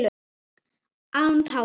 Án tára